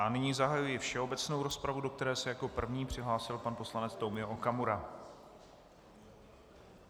A nyní zahajuji všeobecnou rozpravu, do které se jako první přihlásil pan poslanec Tomio Okamura.